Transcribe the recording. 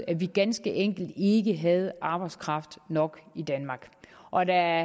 at vi ganske enkelt ikke havde arbejdskraft nok i danmark og der